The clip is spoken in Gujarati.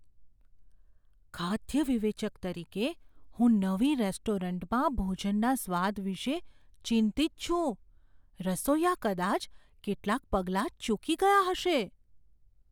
ખાદ્ય વિવેચક તરીકે, હું નવી રેસ્ટોરન્ટમાં ભોજનના સ્વાદ વિશે ચિંતિત છું. રસોઈયા કદાચ કેટલાંક પગલાં ચૂકી ગયા હશે.